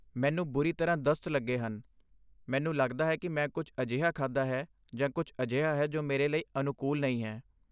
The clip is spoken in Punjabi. ਮੈਨੂੰ ਲੱਗਦਾ ਹੈ ਕਿ ਮੈਂ ਕੁਝ ਅਜਿਹਾ ਖਾਧਾ ਹੈ ਜਾਂ ਕੁਝ ਅਜਿਹਾ ਹੈ ਜੋ ਮੇਰੇ ਲਈ ਅਨੁਕੂਲ ਨਹੀਂ ਹੈ।